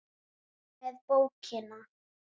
og með bókina!